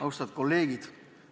Austatud kolleegid!